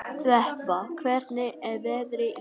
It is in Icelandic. Þeba, hvernig er veðrið í dag?